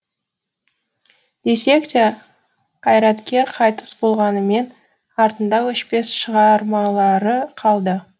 десек те қайраткер қайтыс болғанымен артында өшпес шығармалары қалды